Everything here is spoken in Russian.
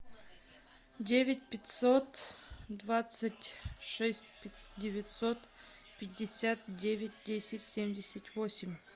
девять пятьсот двадцать шесть девятьсот пятьдесят девять десять семьдесят восемь